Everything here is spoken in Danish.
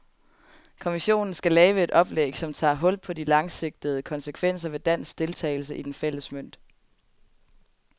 Kommissionen skal lave et oplæg, som tager hul på de langsigtede konsekvenser ved dansk deltagelse i den fælles mønt.